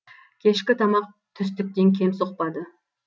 кешкі тамақ түстіктен кем соқпады